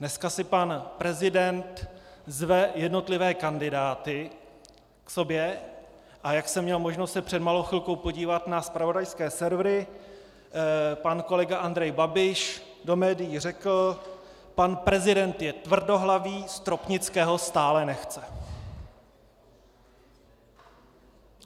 Dneska si pan prezident zve jednotlivé kandidáty k sobě, a jak jsem měl možnost se před malou chvilkou podívat na zpravodajské servery, pan kolega Andrej Babiš do médií řekl: Pan prezident je tvrdohlavý, Stropnického stále nechce.